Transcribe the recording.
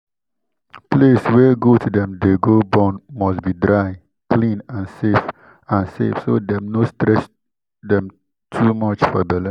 place wey goat dem dey go born must be dry clean and safe and safe so dem no stress too much for belle.